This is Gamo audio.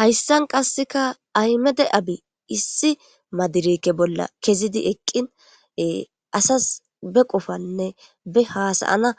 Hayssan qasseka aymede abi issi madirike bolla kezidi eqqine asas be qofanne be haasayana